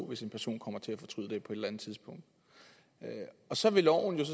hvis en person kommer til at fortryde det på et eller andet tidspunkt så vil loven